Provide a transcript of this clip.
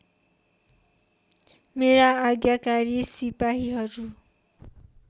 मेरा आज्ञाकारी सिपाहीहरू